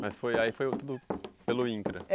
Mas foi aí foi tudo pelo INCRA?